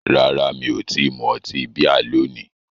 Rárá, mi ò tí ì mu ọtí bíà lónìí